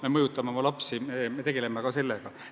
Me mõjutame oma lapsi, me tegeleme ka sellega.